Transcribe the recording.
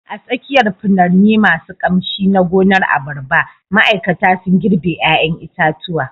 A tsakiyar furanni masu ƙamshi na gonar abarba, ma'aikata sun girbe 'ƴaƴan itatuwa